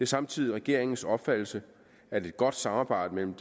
samtidig regeringens opfattelse at et godt samarbejde mellem